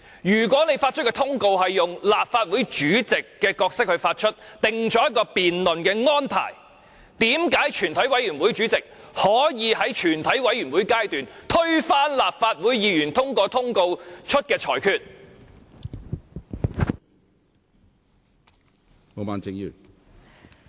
"如果你以立法會主席的身份制訂辯論安排，並向議員發出通告，為何全體委員會主席在全體委員會審議階段可以推翻立法會主席通過通告發出的決定？